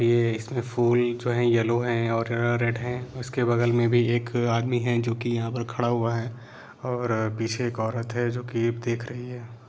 ये इसमें फूल जो है येलो है और रेड है इसके बगल में भी एक आदमी है जो कि यहां पर खड़ा हुआ है और पीछे एक औरत है जो की देख रही है।